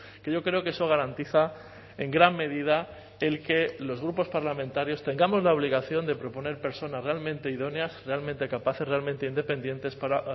que yo creo que eso garantiza en gran medida el que los grupos parlamentarios tengamos la obligación de proponer personas realmente idóneas realmente capaces realmente independientes para